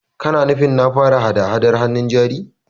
Kana nufin na fara hada-Hadar hannun jari?